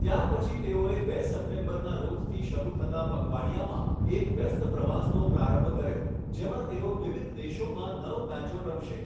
ત્યારપછી તેઓએ બે સપ્ટેમ્બરના રોજથી શરૂ થતા પખવાડિયામાં એક વ્યસ્ત પ્રવાસનો પ્રારંભ કર્યો, જેમાં તેઓ વિવિધ દેશોમાં નવ મેચો રમશે.